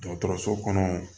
Dɔgɔtɔrɔso kɔnɔ